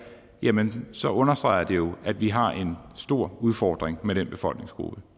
jamen så understreger det jo at vi har en stor udfordring med den befolkningsgruppe